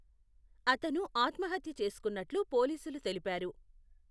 అతను ఆత్మహత్య చేసుకున్నట్లు పోలీసులు తెలిపారు.